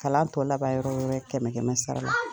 Kalan tɔ laban yɔrɔ kɛmɛ kɛmɛ sara la